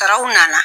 Taraw nana